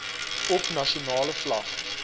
op nasionale vlak